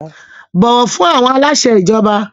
Bọ̀wọ̀ fún àwọn aláṣẹ ìjọba!